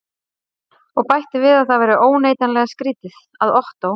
Og bætti við að það væri óneitanlega skrýtið, að Ottó